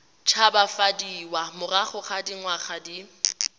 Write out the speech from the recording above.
tshabafadiwa morago ga dingwaga di